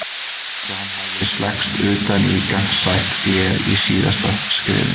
Eins og hann hefði slengst utan í gagnsætt gler í síðasta skrefinu.